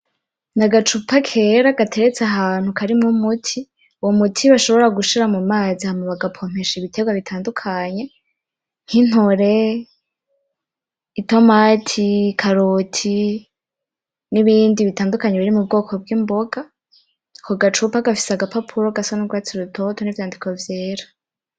N’agacupa kera gateretse ahantu karimwo umuti, uwo muti bashobora gushira mu mazi hama bagapompesha ibiterwa bitadukanye, nk'intore, itomati, ikaroti, n'ibindi bitandukanye biri mu bwoko bw'imboga. Ako gacupa gafise agapapuro gasa n'urwatsi rutoto n'ivyandiko vyera.